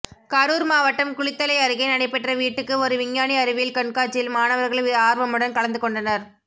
கரூர் மாவட்டம் குளித்தலை அருகே நடைபெற்ற வீட்டுக்கு ஒரு விஞ்ஞானி அறிவியல் கண்காட்சியில் மாணவர்கள் ஆர்வமுடன் கலந்துகொண்டனர்